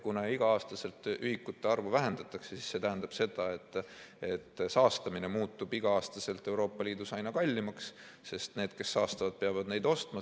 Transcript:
Kuna igal aastal ühikute arvu vähendatakse, siis see tähendab, et saastamine muutub igal aastal Euroopa Liidus aina kallimaks, sest need, kes saastavad, peavad neid ostma.